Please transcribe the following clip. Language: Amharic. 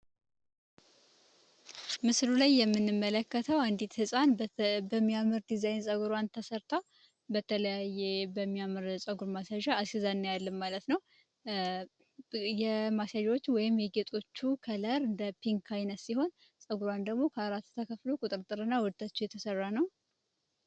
ላይ የምንመለከተው አንዲት ህፃን በሚያምር ዲዛይን ተሠርተው በተለያየ በሚያምር ፀጉር ነው ማለት ነው ሲሆን ፀጉሯን ደግሞ ከአራት ተከፍሎ ቁጥጥርና ወታች የተሰራ ነው